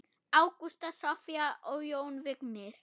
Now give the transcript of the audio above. Ágústa, Soffía og Jón Vignir.